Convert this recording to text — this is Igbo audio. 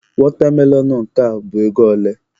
Watermelon nke a bụ ego ole?